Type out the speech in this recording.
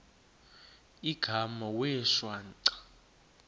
igama wee shwaca